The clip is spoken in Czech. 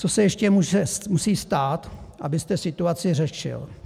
Co se ještě musí stát, abyste situaci řešil?